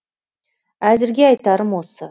әзірге айтарым осы